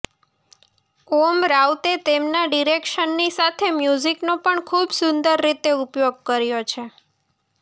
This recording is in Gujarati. ઓમ રાઉતે તેમના ડિરેક્શનની સાથે મ્યુઝિકનો પણ ખૂબ સુંદર રીતે ઉપયોગ કર્યો છે